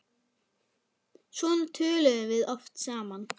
Svona töluðum við oft saman.